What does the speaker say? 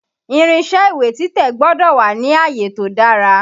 Irinṣé ìwé títẹ̀ gbọ́dọ̀ wà ni àyè tó dára.